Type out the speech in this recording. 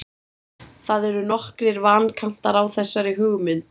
það eru nokkrir vankantar á þessari hugmynd